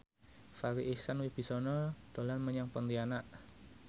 Farri Icksan Wibisana dolan menyang Pontianak